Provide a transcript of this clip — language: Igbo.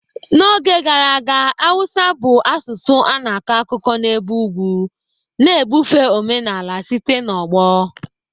N'oge gara aga, Hausa bụ asụsụ a na-akọ akụkọ n'ebe ugwu, na-ebufe omenala site n'ọgbọ.